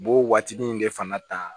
U b'o waatinin de fana ta